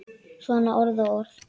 Svona orð og orð.